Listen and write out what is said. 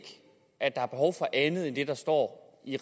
at der er behov for andet end det der står i